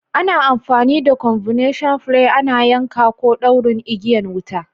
Ana amfani da " combination plier " ana yanka ko ɗaurin igiyan wuta.